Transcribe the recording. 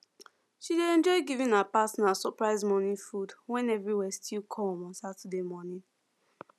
she dey enjoy giving her partner surprise morning food when everywhere still colm on saturday morning